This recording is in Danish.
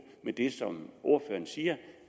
med det som ordføreren siger